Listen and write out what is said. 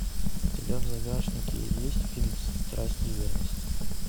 у тебя в загашнике есть фильм страсть и верность